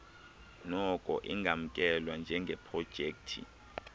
noko ingamkelwa njengeprojekthi